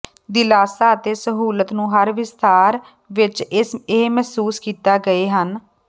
ਦਿਲਾਸਾ ਅਤੇ ਸਹੂਲਤ ਨੂੰ ਹਰ ਵਿਸਥਾਰ ਵਿੱਚ ਇਹ ਮਹਿਸੂਸ ਕੀਤਾ ਗਏ ਹਨ